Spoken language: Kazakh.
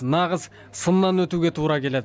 нағыз сыннан өтуге тура келеді